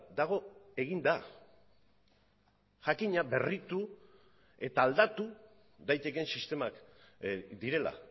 dago eginda jakina berritu eta aldatu daitekeen sistemak direla